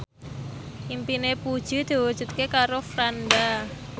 impine Puji diwujudke karo Franda